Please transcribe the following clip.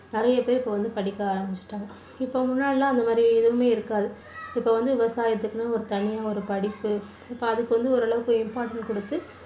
நிறைய பேர் இப்போ வந்து படிக்க ஆரம்பிச்சுட்டாங்க. இப்போ முன்னாடி எல்லாம் அந்த மாதிரி எதுவுமே இருக்காது இப்போ வந்து விவசாயத்துக்குன்னு ஒரு தனியா ஒரு படிப்பு இப்போ அதுக்கு வந்து ஓரளவுக்கு imporant கொடுத்து